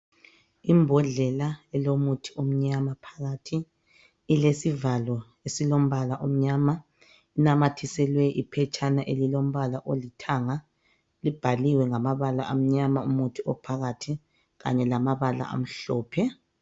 Imbodlela elomuthi omnyama phakathi, ilesivalo esilombala omnyama, inamathiselwe iphetshana elilombala olithanga libhaliwe ngamabala amnyama umuthi ophakathi, kanye lamabala amhlophe.